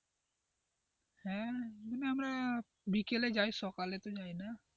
হ্যাঁ বিকেলে যায় সকালে তো যায় না.